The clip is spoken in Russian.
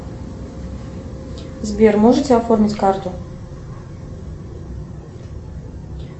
сбер можете оформить карту